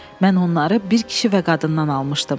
Mən onları bir kişi və qadından almışdım.